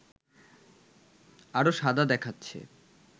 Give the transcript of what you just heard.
আরো সাদা দেখাচ্ছে